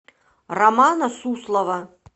романа суслова